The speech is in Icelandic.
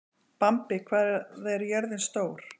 Bambi, hvað er jörðin stór?